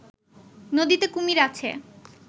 নদীতে কুমির আছে